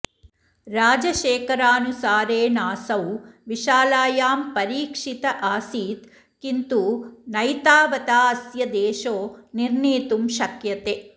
राजशेखरानुसारेणासौ विशालायां परीक्षित आसीत् किन्तु नैतावताऽस्य देशो निर्णीतुं शक्यते